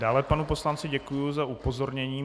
Dále panu poslanci děkuji za upozornění.